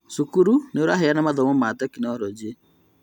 Cukuru nĩũraheana mathomo ma tekinorojĩ